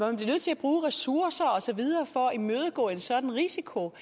er nødt til at bruge ressourcer og så videre for at imødegå en sådan risiko